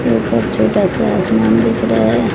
छोटा सा आसमान दिख रहा है।